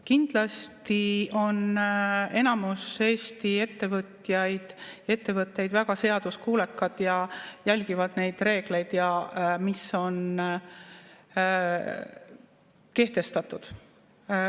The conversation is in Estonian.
Kindlasti on enamus Eesti ettevõtjaid, ettevõtteid väga seaduskuulekad ja järgivad neid reegleid, mis on kehtestatud.